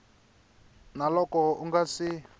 na loko u nga si